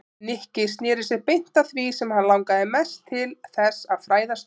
Nikki snéri sér beint að því sem hann langaði mest til þess að fræðast um.